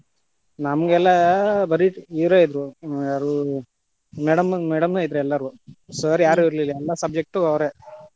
ನಮ್ಗೆಲ್ಲಾ ಬರಿ ಇವ್ರ ಇದ್ರ ಯಾರೂ madam, madam ಇದ್ರು ಎಲ್ಲಾರು, sir ಯಾರು ಇರಲಿಲ್ಲಾ ಎಲ್ಲಾ subject ಗು ಅವ್ರೆ.